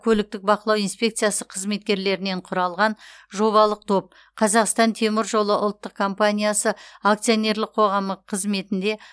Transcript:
көліктік бақылау инспекциясы қызметкерлерінен құралған жобалық топ қазақстан темір жолы ұлттық компаниясы акционерлік қоғамы қызметінде